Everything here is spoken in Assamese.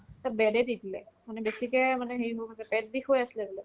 to bed য়ে দি দিলে মানে বেছিকে মানে হেৰি হৈ গৈছিলে পেট বিষ হৈ আছিলে বোলে